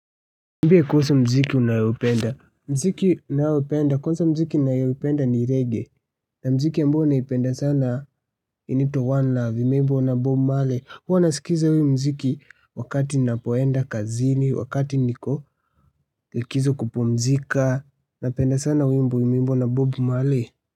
Mbie kuhusu mziki unayaoupenda, mziki ninayopenda, kwanza mziki ninayoipenda ni reggae, na mziki ambayo naipenda sana inaitwa One Love, imeimbwa na Bob Male, huwa nasikiza huu mziki wakati napoenda kazini, wakati niko likizo kupumzika, napenda sana wimbo umeimbwa na Bob Male.